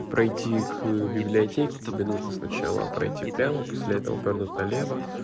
пройти к библиотеке тебе нужно сначала пройти прямо после этого повернуть налево